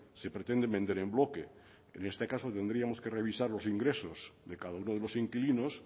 se pretenden vender en bloque en este caso tendríamos que revisar los ingresos de cada uno de los inquilinos